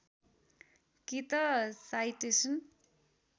कि त साइटेसन